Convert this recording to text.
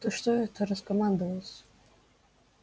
ты что это раскомандовался